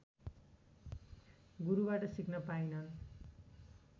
गुरुबाट सिक्न पाइनन्